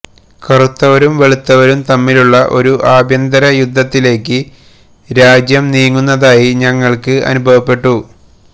കറുത്തവരും വെളുത്തവരും തമ്മിലുള്ള ഒരു ആഭ്യന്തരയുദ്ധത്തിലേക്ക് രാജ്യം നീങ്ങുന്നതായി ഞങ്ങൾക്ക് അനുഭവപ്പെട്ടു